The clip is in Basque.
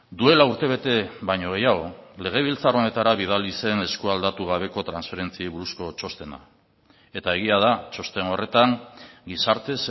duela urtebete baino gehiago legebiltzar honetara bidali zen eskualdatu gabeko transferentziei buruzko txostena eta egia da txosten horretan gizarte